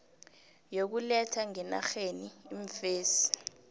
yokuletha ngenarheni iimfesi